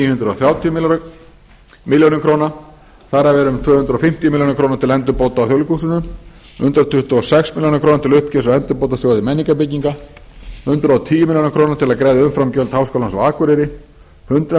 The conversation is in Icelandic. hundruð þrjátíu milljónir króna þar af eru um tvö hundruð fimmtíu milljónir króna til endurbóta á þjóðleikhúsinu hundrað tuttugu og sex milljónir til uppgjörs á endurbótasjóði menningarbygginga hundrað og tíu milljónir króna til að greiða umframgjöld háskólans á akureyri hundrað milljónir króna til